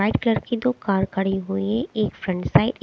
white colour की दो car खड़ी हुई एक फ्रंट साइड ए --